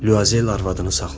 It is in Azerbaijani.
Lüazel arvadını saxladı.